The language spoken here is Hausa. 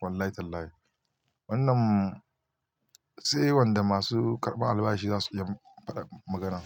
Wallahi Tallahi. Wannan sai wanda masu karɓan albashi za su iya faɗar magana.